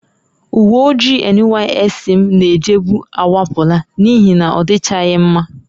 Uwe ojii NYSC m na-ejebu akwapụla n'ihi na ọ dịchaghị mma